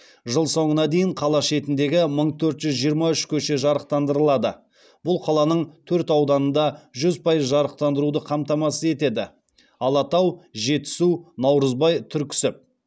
жыл соңына дейін қала шетіндегі мың төрт жүз жиырма үш көше жарықтандырылады бұл қаланың төрт ауданында жүз пайыз жарықтандыруды қамтамасыз етеді алатау жетісу наурызбай түрксіб